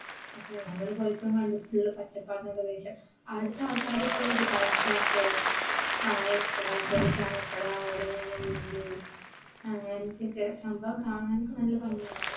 അപ്പോ ഞങ്ങൾ പോയപ്പഴും കണ്ടു. full പച്ചപ്പാർന്ന പ്രദേശം അവിടത്തെ ആൾക്കാർ ഇപ്പഴും ഒരു പഴഞ്ചനെ പോലെയാ. ചായക്കട ചെറിയ ചായക്കട ഓല മേഞ്ഞ വീട് അങ്ങനത്തെയൊക്കെ. സംഭവം കാണാനൊക്കെ നല്ല ഭംഗിയാ